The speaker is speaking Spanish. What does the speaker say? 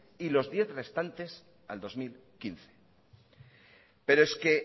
y los diez restantes al dos mil quince pero es que